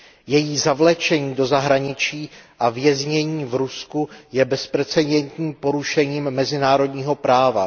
Její zavlečení do zahraničí a věznění v Rusku je bezprecedentním porušením mezinárodního práva.